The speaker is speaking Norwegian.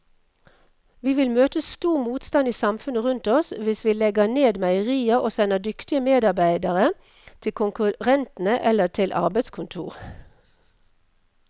Vi vil møte stor motstand i samfunnet rundt oss hvis vi legger ned meierier og sender dyktige medarbeidere til konkurrentene eller til arbeidskontoret.